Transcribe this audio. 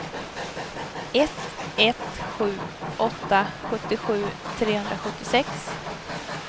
ett ett sju åtta sjuttiosju trehundrasjuttiosex